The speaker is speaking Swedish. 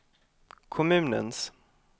kommunens